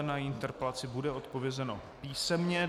Na její interpelaci bude odpovězeno písemně.